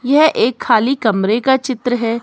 यह एक खाली कमरे का चित्र है।